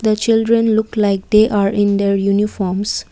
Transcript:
the children look like they are in their uniforms.